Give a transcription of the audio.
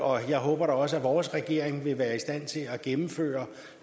og jeg håber da også at vores regering vil være i stand til at gennemføre